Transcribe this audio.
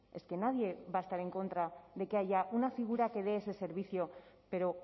es que nadie va a estar en contra de que haya una figura que de ese servicio pero